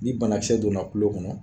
Ni bana kisɛ donna tulo kɔnɔ